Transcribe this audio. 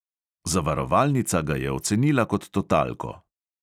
Zavarovalnica ga je ocenila kot totalko.